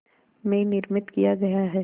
में निर्मित किया गया है